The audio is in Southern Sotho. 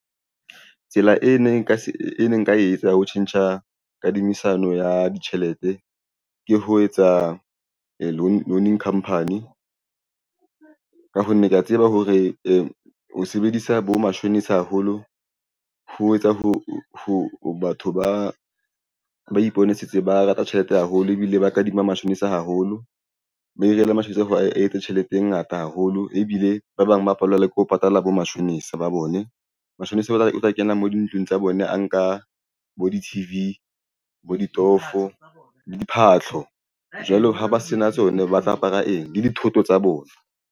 Tsela e ne nka etsa ho tjhentjha kadimisano ya ditjhelete ke ho etsa loaning campaign ka ho ke ya tseba hore ho sebedisa bo mashonisa haholo ho etsa ho ho batho ba ipone setse ba rata tjhelete haholo ebile ba kadima mashonisa haholo ba . Ho a etse tjhelete e ngata haholo ebile ba bang ba apolaela ke ho patala bo matjhonisa ba bone. Matjhonisa ba ka kena mo dintlong tsa bone a nka bo di-T_V bo ditofo le diphahlo jwalo ha ba se na tsona ba tla apara eng le dithoto tsa bona.